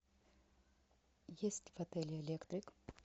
есть в отеле электрик